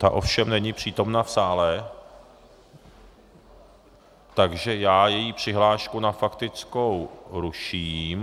Ta ovšem není přítomna v sále, takže já její přihlášku na faktickou ruším.